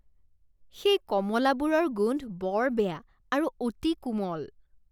সেই কমলাবোৰৰ গোন্ধ বৰ বেয়া আৰু অতি কোমল।